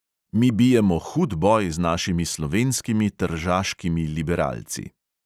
Mi bijemo hud boj z našimi slovenskimi tržaškimi liberalci.